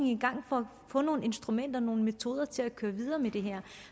i gang for at få nogle instrumenter nogle metoder til at køre videre med det her